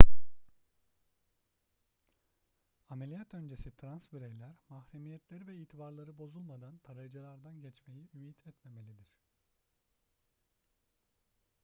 ameliyat öncesi trans bireyler mahremiyetleri ve itibarları bozulmadan tarayıcılardan geçmeyi ümit etmemelidir